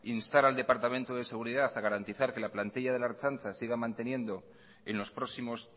instar al departamento de seguridad a garantizar que la plantilla de la ertzaintza siga manteniendo en los próximos